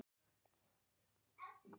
HINSTA KVEÐJA Elsku Gestur.